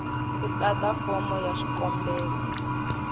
ku tata fomo ya xikombelo